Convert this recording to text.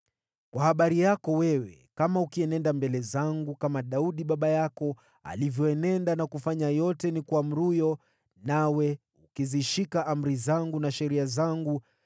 “Kwa habari yako wewe, kama ukienenda mbele zangu kama Daudi baba yako alivyoenenda na kufanya yote nikuamuruyo, nawe ukizishika amri zangu na sheria zangu,